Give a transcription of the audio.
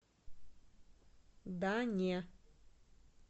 да не